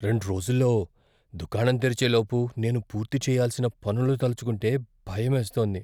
రెండ్రోజుల్లో దుకాణం తెరిచే లోపు నేను పూర్తి చేయాల్సిన పనులు తలచుకుంటే భయమేస్తోంది.